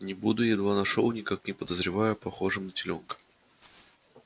не буду едва нашёл никак не подозревая похожим на телёнка